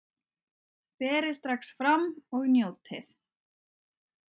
Berið strax fram og njótið!